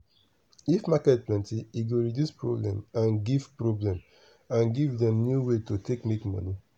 if market plenty e go reduce problem and give problem and give dem new way to take make money.